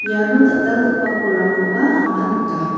iano dal·dalgipa bolrangkoba anga nika.